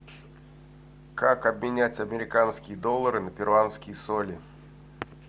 как обменять американские доллары на перуанские соли